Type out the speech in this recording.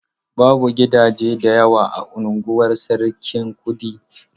Babu gidaje da yawa a unguwar Sarkin Kudu.